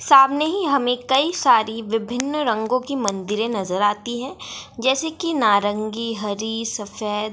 सामने ही हमें कई सारी विभिन्न रंगों की मंदिरे नजर आती है जैसे कि नारंगी हरी सफेद--